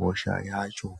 hosha yacho.